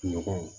Ɲɔgɔn